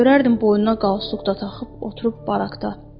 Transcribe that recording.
Görərdim boynuna qalstuk da taxıb oturub barakda.